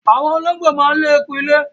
Àwọn olóńgbò máa ń lé eku ilé.